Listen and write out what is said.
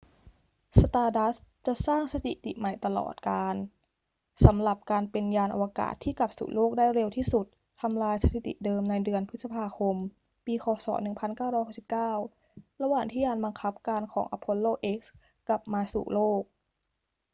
stardust จะสร้างสถิติใหม่ตลอดกาลสำหรับการเป็นยานอวกาศที่กลับสู่โลกได้เร็วที่สุด ทำลายสถิติเดิมในเดือนพฤษภาคมปี ค. ศ. 1969 ระหว่างที่ยานบังคับการของ apollo x กลับมาสู่โลก